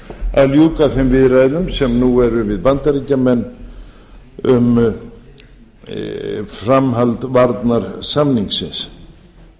að ljúka þeim viðræðum sem eru nú við bandaríkjamenn um framhald varnarsamningsins